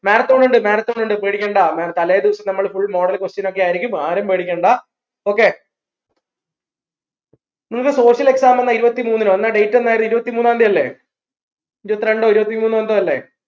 marathon ഇണ്ട് marathon ഇണ്ട് മ പേടിക്കണ്ട തലേദിവസം നമ്മള് full model question ഒക്കെ ആയിരിക്കും ആരും പേടിക്കണ്ട okay നിങ്ങക്ക് social exam എന്ന ഇരുപ്പത്തിമൂന്നിനോ എന്ന date എന്ന ഇരുപത്തിമൂന്നാം തീയതി അല്ലേ ഇരുപത്രണ്ടോ ഇരുപത്തിമൂന്നോ എല്ലെ